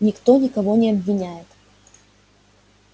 никто никого не обвиняет